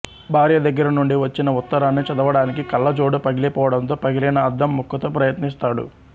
భార్య దగ్గరనుండి వచ్చిన ఉత్తరాన్ని చదవడానికి కళ్ళజోడు పగిలిపోవడంతో పగిలిన అద్దంముక్కతో ప్రయత్నిస్తాడు